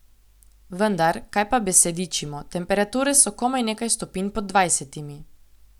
Vendar, kaj pa besedičimo, temperature so komaj nekaj stopinj pod dvajsetimi.